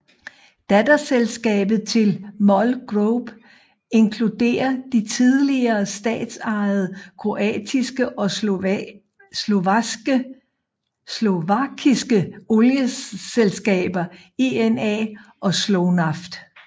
Datterselskaber til MOL Group inkluderer de tidligere statsejede kroatiske og slovakiske olieselskaber INA og Slovnaft